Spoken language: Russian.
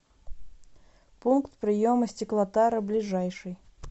пункт приема стеклотары ближайший